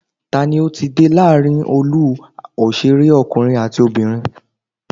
Tani ó ti dé láàrin olú òṣèré ọkùnrin àti obìnrin?